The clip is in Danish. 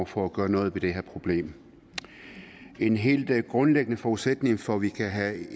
for at gøre noget ved det her problem en helt grundlæggende forudsætning for at vi kan have